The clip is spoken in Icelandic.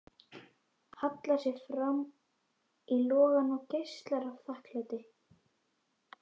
Hallar sér fram í logann og geislar af þakklæti.